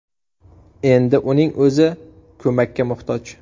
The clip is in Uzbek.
Endi uning o‘zi ko‘makka muhtoj.